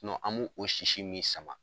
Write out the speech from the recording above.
an b'o sisi min sama